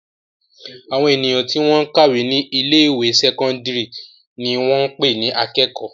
Àwọn ènìyàn tí wọ́n ń kàwé ní ilé-ìwé sẹ́kọ́ndárì ni wọ́n ń pè ní akẹ́kọ̀ọ́.